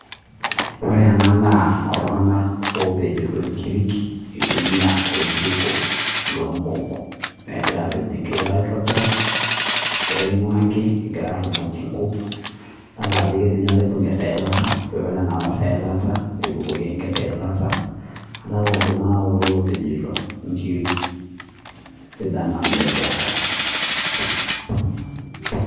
Ore ena naa iltung'ana oo pejito enkiri etumia oljiko loo nkuuk negira apeny enkiri aitobiraki egira arumoki nkuuk edol Ajo ketii oloibungita eilata paa ore enangor eyilata nebukoki enkiti yilata adolita Ajo iltung'ana opejito nkiri sidan namelok